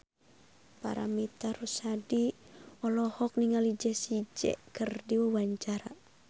Paramitha Rusady olohok ningali Jessie J keur diwawancara